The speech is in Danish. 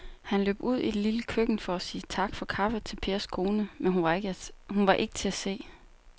Han løb ud i det lille køkken for at sige tak for kaffe til Pers kone, men hun var ikke til at se.